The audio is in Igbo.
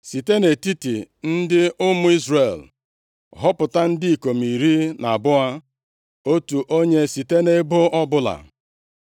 “Site nʼetiti ndị ụmụ Izrel họpụta ndị ikom iri na abụọ, otu onye site nʼebo ọbụla,